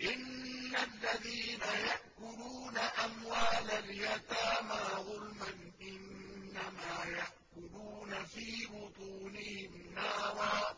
إِنَّ الَّذِينَ يَأْكُلُونَ أَمْوَالَ الْيَتَامَىٰ ظُلْمًا إِنَّمَا يَأْكُلُونَ فِي بُطُونِهِمْ نَارًا ۖ